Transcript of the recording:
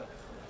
O?